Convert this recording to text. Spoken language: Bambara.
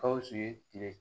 Gawusu ye kile